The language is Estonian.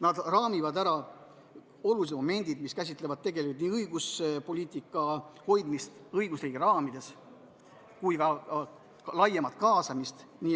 Nad raamivad ära olulised momendid, mis käsitlevad nii õiguspoliitika hoidmist õigusriigi raamides kui ka laiemat kaasamist.